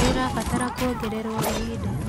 Nĩũrabatara kuongererũo ihinda?